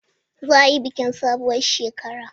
Za a yi bikin sabuwar shekara.